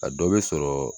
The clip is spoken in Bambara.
A dɔ bɛ sɔrɔ